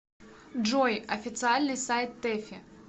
джой официальный сайт тэфи